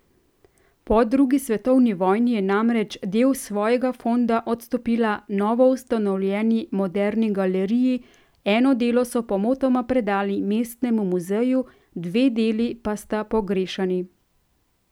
Po drugi svetovni vojni je namreč del svojega fonda odstopila novoustanovljeni Moderni galeriji, eno delo so pomotoma predali Mestnemu muzeju, dve deli pa sta pogrešani.